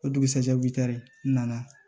O dugusajɛ bi taari nana